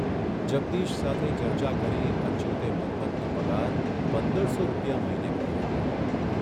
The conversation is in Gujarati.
જગદીશ સાથે ચર્ચા કરી અચ્યુતે મન્મથનો પગાર પંદરસો રૂપિયા મહિને કરી આપ્યો.